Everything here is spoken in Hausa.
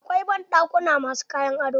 Akwai banɗakuna ma su kayan ado.